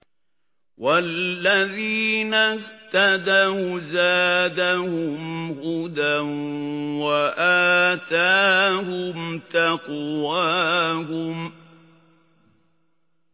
وَالَّذِينَ اهْتَدَوْا زَادَهُمْ هُدًى وَآتَاهُمْ تَقْوَاهُمْ